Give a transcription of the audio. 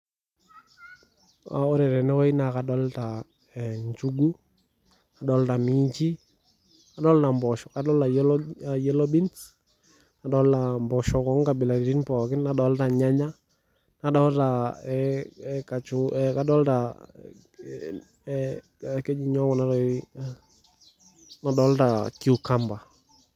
Ee ore tenewuei naa kadolita ee nchugu , nadolta minchi, nadolta mposho, adolta yellow beans , nadolta mposhok onkabilaritin , nadolta irnyanya adolta ee adolta aa keji nyoo kuna tokitin , nadolta cucumber .